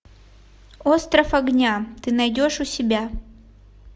остров огня ты найдешь у себя